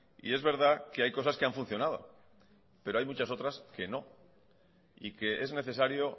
y es verdad que hay cosas que han funcionado pero hay muchas otras que no y que es necesario